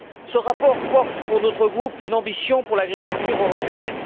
Ce rapport porte, pour notre groupe, une ambition pour l'agriculture européenne.